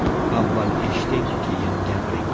Avval eshiting, keyin gapiring.